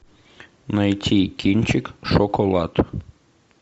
найти кинчик шоколад